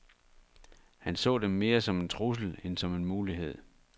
Han så dem mere som en trussel end som en mulighed.